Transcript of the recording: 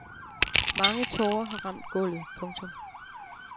Mange tårer har ramt gulvet. punktum